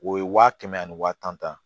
O ye wa kɛmɛ ani waa tan